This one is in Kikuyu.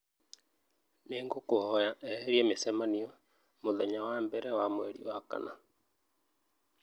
nĩ ngũkũhoya eherie mĩcemanio mũthenya wa mbere wa mweri wa kana.